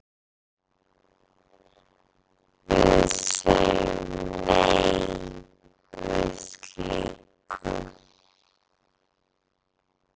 Við segjum nei við slíku.